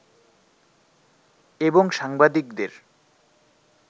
এবং সাংবাদিকদের